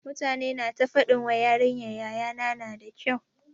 Mutane na ta faɗin wai yarinyar yaya na na da kyau.